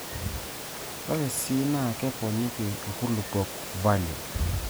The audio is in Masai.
Ore sii NAA keponiki nkulupuok falio.